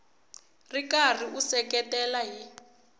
ri karhi u seketela hi